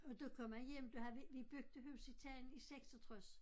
Og der kom jeg hjem der havde vi vi byggede hus i Tejn i 86